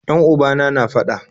Yan ubana na fada